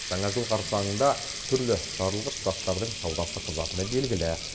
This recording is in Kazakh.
жаңа жыл қарсаңында түрлі жарылғыш заттардың саудасы қызатыны белгілі